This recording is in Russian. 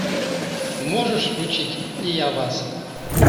можешь включить и я вас